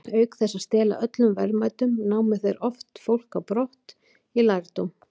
Auk þess að stela öllum verðmætum, námu þeir oft fólk á brott í þrældóm.